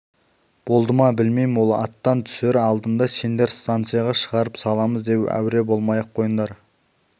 болды ма білмеймін ол аттан түсер алдында сендер станцияға шығарып саламыз деп әуре болмай-ақ қойыңдар